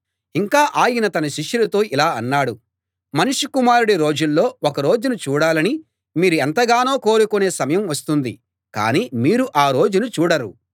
ఇంకా ఆయన తన శిష్యులతో ఇలా అన్నాడు మనుష్య కుమారుడి రోజుల్లో ఒక రోజును చూడాలని మీరు ఎంతగానో కోరుకునే సమయం వస్తుంది కానీ మీరు ఆ రోజును చూడరు